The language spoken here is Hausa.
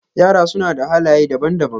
Yara suna da halaye daban-daban.